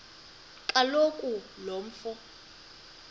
kaloku lo mfo